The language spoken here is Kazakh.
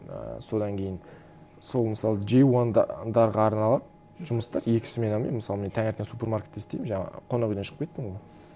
ы содан кейін сол мысалы джей арналады жұмыс та екі сменамен мысалы мен таңертең супермаркетте істеймін жаңағы қонақ үйден шықпайтынмын